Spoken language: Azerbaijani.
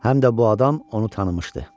Həm də bu adam onu tanımışdı.